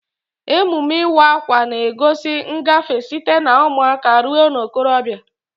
Emume Ịwa akwa na-egosi ngafe site na ụmụaka ruo na okorobia.